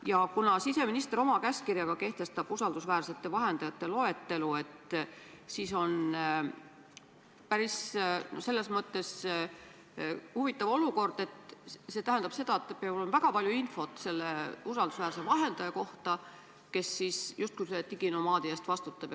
Ja kuna siseminister kehtestab oma käskkirjaga usaldusväärsete vahendajate loetelu, siis on selles mõttes päris huvitav olukord – see tähendab seda, et peab olema väga palju infot selle usaldusväärse vahendaja kohta, kes justkui selle diginomaadi eest vastutab.